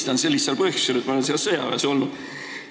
Tulistan!", sel lihtsal põhjusel, et ma olen Leedus sõjaväes olnud.